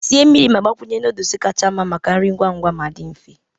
Sie mmiri ma gbakwunye noodles kacha mma maka nri ngwa ngwa ma dị mfe.